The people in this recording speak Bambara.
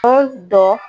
dɔ